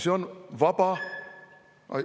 " See on vaba ...